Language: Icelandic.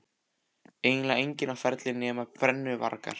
Eiginlega enginn á ferli nema brennuvargar.